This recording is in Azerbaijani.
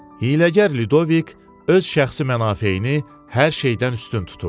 Hiyləgər Lüdovik öz şəxsi mənafeyini hər şeydən üstün tuturdu.